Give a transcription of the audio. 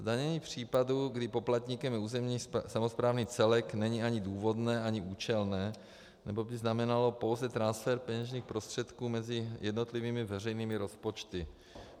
Zdanění případů, kdy poplatníkem je územní samosprávný celek, není ani důvodné ani účelné, neboť by znamenalo pouze transfer peněžních prostředků mezi jednotlivými veřejnými rozpočty.